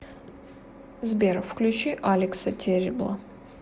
сбер включи алекса террибла